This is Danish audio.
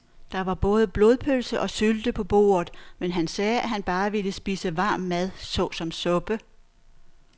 Der var både blodpølse og sylte på bordet, men han sagde, at han bare ville spise varm mad såsom suppe.